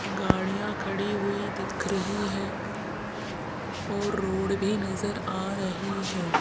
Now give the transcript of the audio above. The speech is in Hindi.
गाड़ियां खड़ी हुई दिख रही है और रोड भी नजर आ रही है।